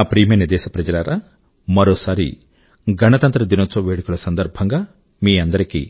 నా ప్రియమైన దేశప్రజలారా మరోసారి గణతంత్ర దినోత్సవ వేడుకల సందర్భం గా మీ అందరికీ